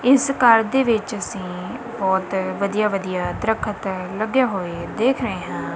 ਇਸ ਘਰ ਦੇ ਵਿੱਚ ਅਸੀਂ ਬਹੁਤ ਵਧੀਆ ਵਧੀਆ ਦਰਖਤ ਲੱਗੇ ਹੋਵੇ ਦੇਖ ਰਹੇ ਹਾਂ।